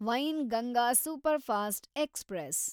Wainganga superfast express